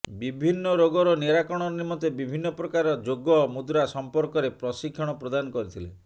ବିଭିନ୍ନ ରୋଗର ନିରାକରଣ ନିମନ୍ତେ ବିଭିନ୍ନ ପ୍ରକାର ଯୋଗ ମୁଦ୍ରା ସମ୍ପର୍କରେ ପ୍ରଶିକ୍ଷଣ ପ୍ରଦାନ କରିଥିଲେ